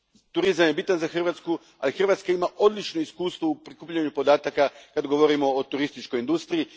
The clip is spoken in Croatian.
Turizam je bitan za Hrvatsku, ali Hrvatska ima odlično iskustvo u prikupljanju podataka kada govorimo o turističkoj industriji.